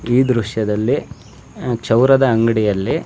ಈ ದೃಶ್ಯದಲ್ಲಿ ಅಹ್ ಚೌರದ ಅಂಗಡಿಯಲ್ಲಿ --